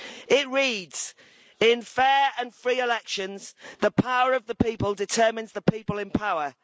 It reads In fair and free elections the power of the people determines the people in power'.